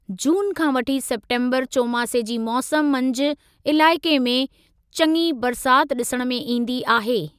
जून खां वठी सेप्टेम्बरु चोमासे जी मौसम मंझि इलाइक़े में चङी बरसात ॾिसण में ईंदी आहे।